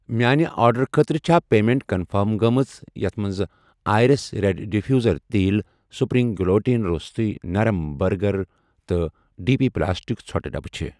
میانہِ آرڈرُٕ خٲطرٕ چھا پیمیٚنٹ کنفٔرم گٔمٕژ یتھ مَنٛز آیرِس ریٖٚڈ ڈِفیوٗزر تیٖل سپرٛنٛگ گلوٗٹٕٕن روٚستٕے نرم بٔرگر تہٕ ڈی پی پلاسٹِک ژھۄٹہٕ ڈبہٕ چھ؟